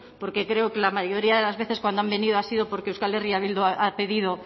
porque creo que la mayoría de las veces cuando han venido ha sido porque euskal herria bildu ha pedido